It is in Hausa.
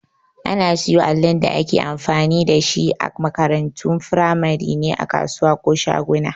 Ana siyo allin da ake amfani dashi a makarantun firamare ne a kasuwa ko shaguna